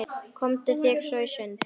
Komdu þér svo í sund.